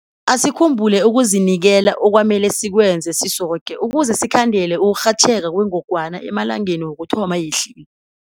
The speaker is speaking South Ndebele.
Asikhumbule ukuzinikela okwamele sikwenza sisoke ukuze sikhandele ukurhatjheka kwengogwana emalangeni wokuthoma yehlile.